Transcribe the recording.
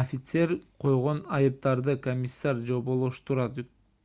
офицер койгон айыптарды комиссар жоболоштурат